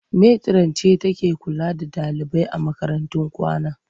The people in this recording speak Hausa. Metiran ce take kula da ɗalibai a makarantun kwana.